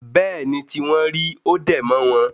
Bẹ́ẹ̀ ni tí wọ́n rí. Ó dẹ̀ mọ́ wọn